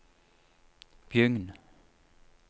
Bjugn